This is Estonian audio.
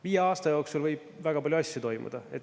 Viie aasta jooksul võib väga palju asju toimuda.